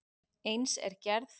Eins er gerð